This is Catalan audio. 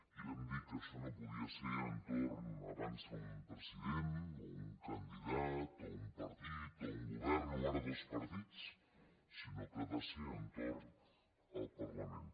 i vam dir que això no podia ser a l’entorn abans d’un president o un candidat o un partit o un govern o ara dos partits sinó que ha de ser a l’entorn del parlament